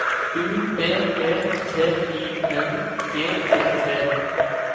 U B E T I N G E T